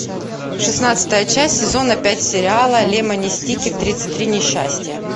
шестнадцатая часть сезона пять сериала лемони сникет тридцать три несчастья